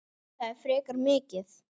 Þetta er frekar mikið.